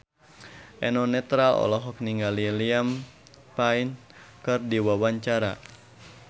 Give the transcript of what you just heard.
Eno Netral olohok ningali Liam Payne keur diwawancara